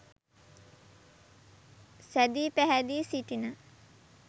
සැදී පැහැදී සිටින